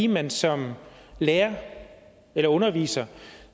man som lærer eller underviser